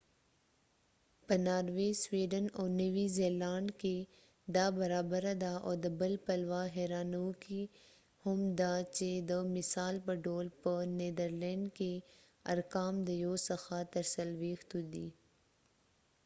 په ناروی سویډن او نوی زیلانډ کی دا برابره ده او د بل پلوه هیرانووکی هم ده چی د مثال په ډول په نیدرلینډ کی ارقام د یو څخه تر څلویښتو دی